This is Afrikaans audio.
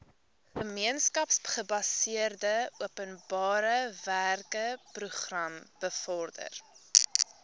gemeenskapsgebaseerde openbarewerkeprogram bevorder